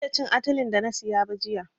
Ban iya cin atilen da na siya ba jiya.